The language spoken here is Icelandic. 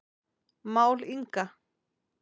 Mál Inga